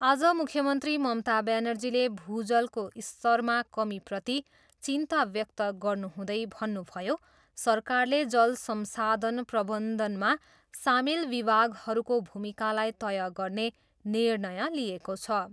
आज मुख्यमन्त्री ममता ब्यानर्जीले भूजलको स्तरमा कमीप्रति चिन्ता व्यक्त गर्नुहुँदै भन्नुभयो, सरकारले जल संसाधन प्रबन्धनमा सामेल विभागहरूको भूमिकालाई तय गर्ने निर्णय लिएको छ।